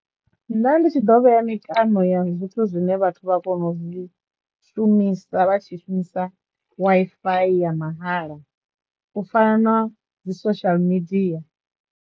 Nda ndi tshi dovha ya mikano ya zwithu zwine vhathu vha kono u zwi shumisa vha tshi shumisa waifiyi ya mahala u fana na dzi social media.